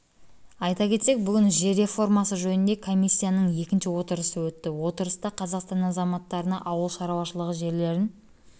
айта кетсек бүгін жер реформасы жөніндегі комиссияның екінші отырысы өтті отырыста қазақстан азаматтарына ауыл шаруашылығы жерлерін